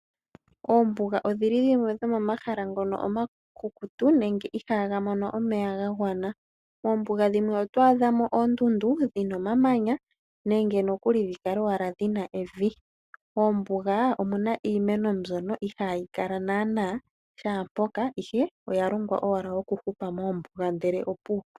Oombuga odhili dhimwe dhomomahala ngono omakukutu nenge ihaaga mono omeya gagwana, oombuga dhimwe oto adha mo oondundu dhina omamanya nenge nokuli dhikale owala dhina evi. Oombuga omuna iimeno mbyono ihaayi kala naana shaampoka ihe oyalongwa owala okuhupa moombuga ndele opuwo.